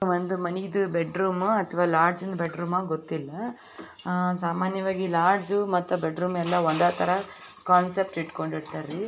ಒಂದು ಮನೆದು ಬೆಡ್ರೂಮ್ ಅಥವಾ ಲಾಡ್ಜ್ ಬೆಡ್ರೂಮ್ ಗೊತ್ತಿಲ್ಲ ಲಾಡ್ಜು ಸಾಮಾನ್ಯವಾಗಿ ಲಾಡ್ಜ್ ಬೆಡ್ರೂಮ್ ಮನೆ ತರ ಕಾನ್ಸೆಪ್ಟ್ ಇಟ್ಕೊಂಡಿರ್ತಾರಿ.